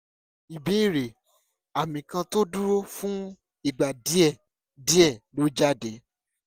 ìbéèrè: àmì kan tó dúró fún ìgbà díẹ̀ díẹ̀ ló jáde